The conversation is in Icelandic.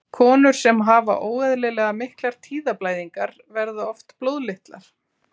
Konur sem hafa óeðlilega miklar tíðablæðingar, verða oft blóðlitlar.